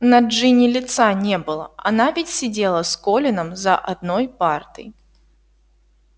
на джинни лица не было она ведь сидела с колином за одной партой